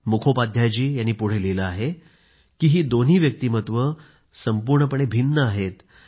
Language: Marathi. मुखोपाध्यायजी यांनी पुढं लिहिलं आहे की ही दोन्ही व्यक्तिमत्वं संपूर्णपणे भिन्न आहेत